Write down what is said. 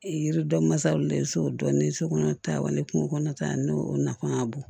Yiridɔ masaw la so dɔɔnin so kɔnɔ tan wa ni kungo kɔnɔ ta n'o nafa ka bon